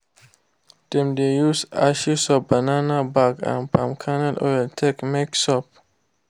them de use ashes of banana back and palm kernel oil take make soap.